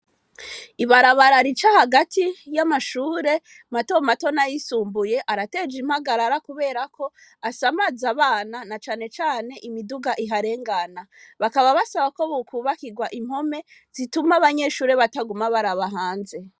Ibarabarara ica hagati y'amashure matomatona yisumbuye arateje impagarara, kubera ko asa amaze abana na canecane imiduga iharengana, bakaba basaba ko bukubakirwa impome zituma abanyeshure bataguma baraba hanze.